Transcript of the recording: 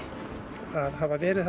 að hafa verið